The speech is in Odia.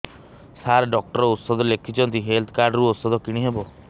ସାର ଡକ୍ଟର ଔଷଧ ଲେଖିଛନ୍ତି ହେଲ୍ଥ କାର୍ଡ ରୁ ଔଷଧ କିଣି ହେବ